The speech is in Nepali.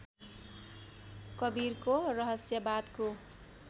कवीरको रहस्यवादको